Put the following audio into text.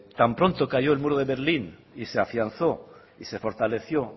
tan pronto cayó el muro de berlín y se afianzó y se fortaleció